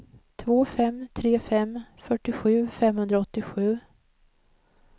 två fem tre fem fyrtiosju femhundraåttiosju